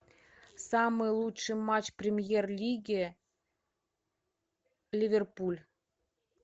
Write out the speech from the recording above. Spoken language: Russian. самый лучший матч премьер лиги ливерпуль